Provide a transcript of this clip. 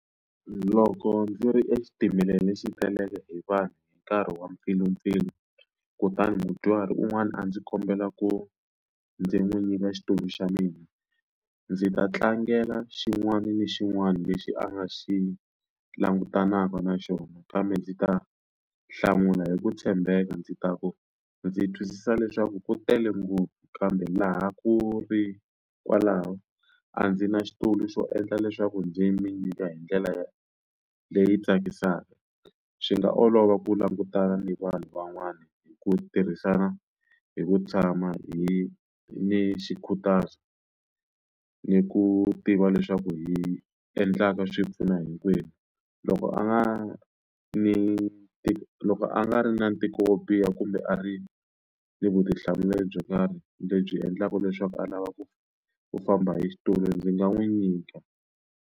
Loko ndzi ri exitimeleni lexi taleleke hi vanhu hi nkarhi wa mpfilumpfilu kutani mudyuhari un'wana a ndzi kombela ku ndzi n'wi nyika xitulu xa mina ndzi ta tlangela xin'wana na xin'wana lexi a nga xi langutanaka na xona kambe ndzi ta hlamula hi ku tshembeka ndzi ta ku ndzi twisisa leswaku ku tele ngopfu kambe laha ku ri kwalaho a ndzi na xitulu xo endla leswaku ndzi mi nyika hi ndlela ya leyi tsakisaka swi nga olova ku langutana ni vanhu van'wana hi ku tirhisana hi ku tshama hi ni xikhutazo ni ku tiva leswaku hi endlaka swi pfuna hinkwenu loko a nga ni tiko loko a nga ri na ntikelo wo biha kumbe a ri ni vutihlamuleri byo karhi lebyi endlaka leswaku a lava ku ku famba hi xitulu ndzi nga n'wi nyika.